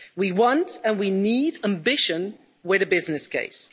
We want and we need ambition with the business case.